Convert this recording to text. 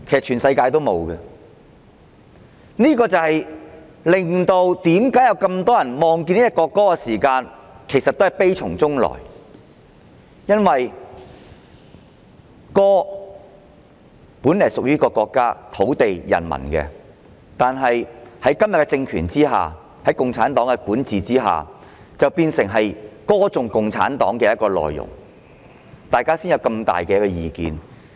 全世界也不會這樣，這正是為何很多人聽到國歌時也會悲從中來，因為這首歌本來屬於國家、土地和人民，但在今天的政權下，在共產黨的管治下，變成歌頌共產黨的歌曲，因此，大家才有這麼大的意見。